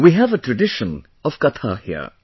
We have a tradition of 'katha' here